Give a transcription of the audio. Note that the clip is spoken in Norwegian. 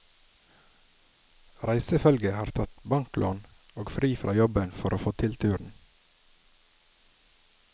Reisefølget har tatt banklån og fri fra jobben for å få til turen.